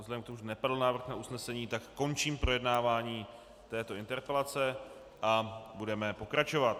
Vzhledem k tomu, že nepadl návrh na usnesení, tak končím projednávání této interpelace a budeme pokračovat.